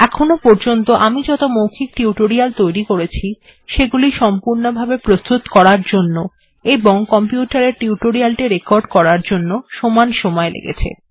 এখনো পর্যন্ত আমি যত মৌখিক টিউটোরিয়াল্ তৈরী করেছি সেগুলি সম্পূর্ণভাবে প্রস্তুত করার জন্য এবং কম্পিউটার এ টিউটোরিয়াল্ টি রেকর্ড করার জন্য সমান সময় লেগেছে